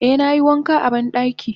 Eh nayi wanka a bandaki.